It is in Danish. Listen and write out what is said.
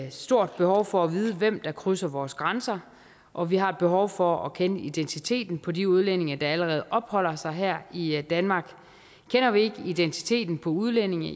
et stort behov for at vide hvem der krydser vores grænser og vi har et behov for at kende identiteten på de udlændinge der allerede opholder sig her i danmark kender vi ikke identiteten på udlændinge